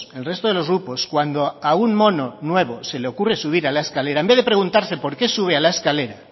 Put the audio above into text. el resto de los grupos cuando a un mono nuevo se le ocurre subir a la escalera en vez de preguntarse por qué sube a la escalera